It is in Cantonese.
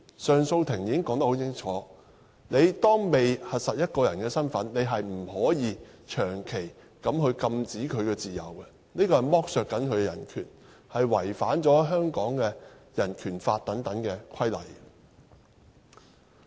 上訴庭已經說得很清楚，在核實一個人身份之前，不能夠長期限制其自由，這是在剝削他的人權，是違反《香港人權法案條例》等規例。